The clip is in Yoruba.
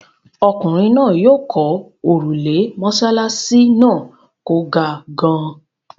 Ọkùnrin náà yóò kọ́ òrùlé mọ́ṣáláṣí náà kò ga gan-an.